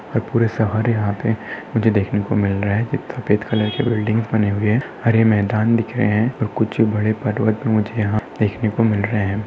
और पूरे सहारे यहा पे मुझे देखने को मिल रहा है सफ़ेद कलर की बिल्डिंग्स बने हुए है हरे मैदान दिख रहे है और कुछ बड़े पर्वत मुझे यहा देखने को मिल रहे है।